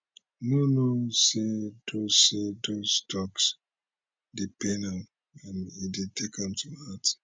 no no say those say those toks dey pain am and e dey take am to heart